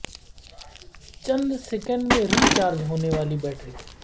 چند سیکنڈ میں recharge ہو نے والی بیٹری